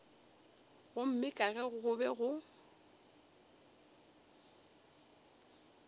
gomme ka ge go be